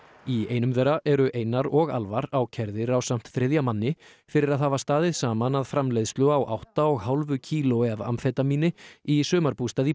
í einum þeirra eru Einar og ákærðir ásamt þriðja manni fyrir að hafa staðið saman að framleiðslu á átta og hálfu kílói af amfetamíni í sumarbústað í